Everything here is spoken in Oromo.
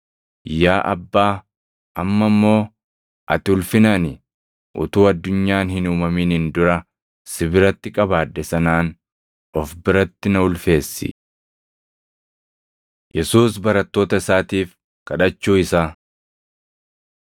Yaa Abbaa, amma immoo ati ulfina ani utuu addunyaan hin uumaminiin dura si biratti qabaadhe sanaan of biratti na ulfeessi. Yesuus Barattoota Isaatiif Kadhachuu Isaa